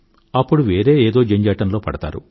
అప్పుడు వేరే ఏదో జంజాటంలో పడతారు